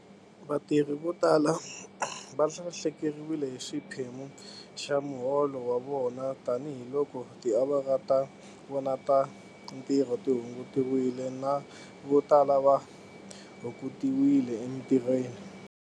Vatirhi vo tala va lahlekeriwile hi xiphemu xa muholo wa vona tanihiloko tiawara ta vona ta ntirho ti hungutiwile na vo tala va hungutiwile emitirhweni.